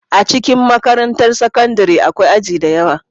A cikin makarantar sakandare akwai aji da yawa